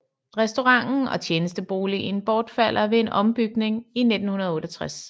Restauranten og tjenesteboligen bortfaldt ved en ombygning i 1968